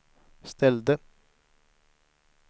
ställde